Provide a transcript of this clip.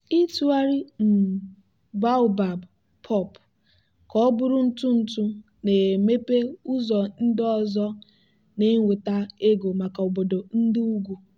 ịtụgharị um baobab pulp ka ọ bụrụ ntụ ntụ na-emepe ụzọ ndị ọzọ na-enweta ego maka obodo ndị ugwu.